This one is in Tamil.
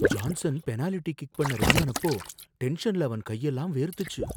ஜான்சன் பெனாலிட்டி கிக் பண்ண ரெடியானப்போ டென்ஷன்ல அவன் கையெல்லாம் வேர்த்துச்சு.